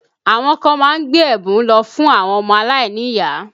Àwọn kan má ń gbé ẹ̀bùn lọ fún àwọn ọmọ alainiyaa